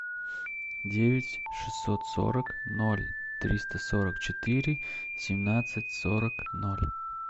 девять шестьсот сорок ноль триста сорок четыре семнадцать сорок ноль